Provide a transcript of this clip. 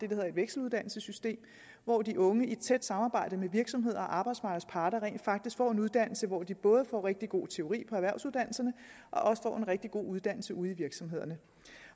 hedder et vekseluddannelsessystem hvor de unge i et tæt samarbejde med virksomheder og arbejdsmarkedets parter rent faktisk får en uddannelse hvor de både får rigtig god teori på erhvervsuddannelserne og også får en rigtig god uddannelse ude i virksomhederne